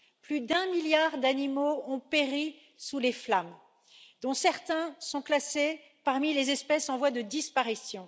Plus d'un milliard d'animaux ont péri sous les flammes, dont certains sont classés parmi les espèces en voie de disparition.